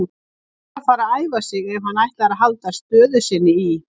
Hann verður að fara að æfa sig ef hann ætlar að halda stöðu sinni í